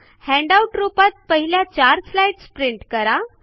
handout रूपात पहिल्या चार स्लाईडस् प्रिंट करा